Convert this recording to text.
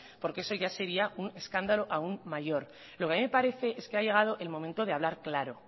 porque eso ya sería un escándalo aun mayor lo que a mí me parece es que ha llegado el momento de hablar claro